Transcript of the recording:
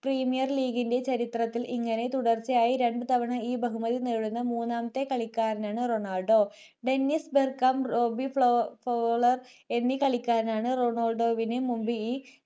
premier league ചരിത്രത്തിൽ ഇങ്ങനെ തുടർച്ചയായി രണ്ടുതവണ ഇ ബഹുമതി നേടുന്ന മൂന്നാമത്തെ കളിക്കാരനാണ് Ronaldo Dennis Bergkamp Robbie Fowler എന്നീ കളിക്കാരാണ് റൊണാൾഡോവിനു മുൻപ് ഈ